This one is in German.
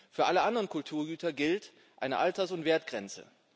Für alle anderen Kulturgüter gilt eine Alters und Wertgrenze.